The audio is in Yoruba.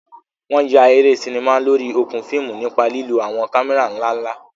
Wọn yà eré sinimá lórí okùn fíìmù nípa lílo àwọn kámẹ́rà ńlá ńlá.